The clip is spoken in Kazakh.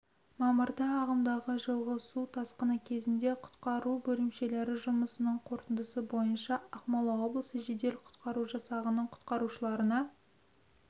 мамырда ағымдағы жылғы су тасқыны кезеңінде құтқару бөлімшелері жұмысының қорытындысы бойынша ақмола облысы жедел-құтқару жасағының құтқарушыларына